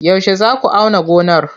Yaushe za ku auna gonar?